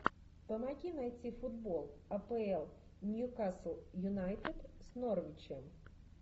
помоги найти футбол апл ньюкасл юнайтед с норвичем